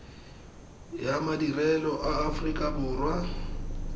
ya madirelo a aforika borwa